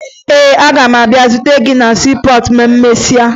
Ee, aga m abịa zute gị na siipọọtụ ma emesịa